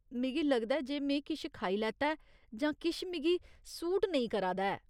मिगी लगदा ऐ जे में किश खाई लैता ऐ जां किश मिगी सूट नेईं करा दा ऐ।